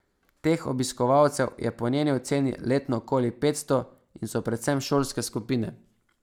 Teh obiskovalcev je po njeni oceni letno okoli petsto in so predvsem šolske skupine.